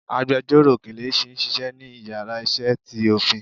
àgbẹjọró Kelechi n Ṣiṣẹ ni ìyára iṣẹ tí Ofin.